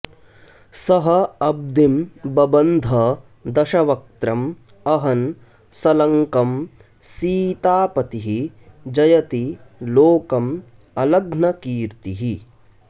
सः अब्धिं बबन्ध दशवक्त्रम् अहन् सलङ्कम् सीतापतिः जयति लोकम् अलघ्नकीर्तिः